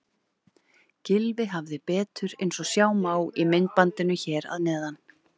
Gylfi hafði betur eins og sjá má í myndbandinu hér að neðan.